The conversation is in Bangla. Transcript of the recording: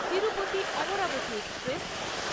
তিরুপতি-অমরাবতী এক্সপ্রেস